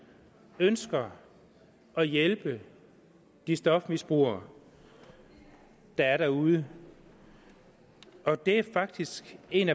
ønsker at hjælpe de stofmisbrugere der er derude og det er faktisk en